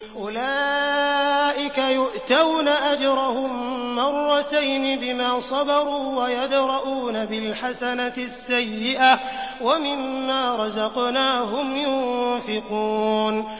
أُولَٰئِكَ يُؤْتَوْنَ أَجْرَهُم مَّرَّتَيْنِ بِمَا صَبَرُوا وَيَدْرَءُونَ بِالْحَسَنَةِ السَّيِّئَةَ وَمِمَّا رَزَقْنَاهُمْ يُنفِقُونَ